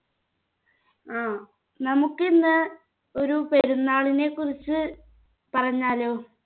ആ നമുക്ക് ഇന്ന് ഒരു പെരുന്നാളിനെ കുറിച്ച് പറഞ്ഞാലോ